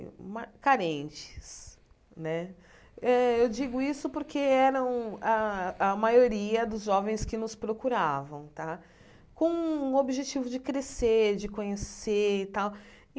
Eu ma carentes né eh eu digo isso porque eram a a maioria dos jovens que nos procuravam tá, com o objetivo de crescer, de conhecer e tal.